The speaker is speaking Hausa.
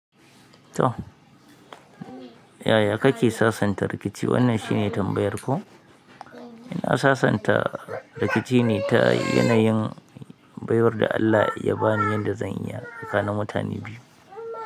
To yaya kake sasanta rikici? Wannan shine tambayar ko? Ina sasanta rikici ne ta yanayin baiwar da Allah ya bani yanda zan iya tsakanin mutane biyu.